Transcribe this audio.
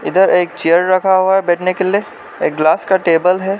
उधर एक चेयर रखा हुआ है बैठने के लिए एक ग्लास का टेबल है।